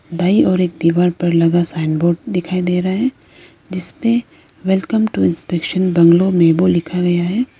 बाहीं ओर एक दीवार पर लगा साइन बोर्ड दिखाई दे रहा है जिस पे वेलकम टू इंस्पेक्शन बंगलो में वो लिखा हुआ है।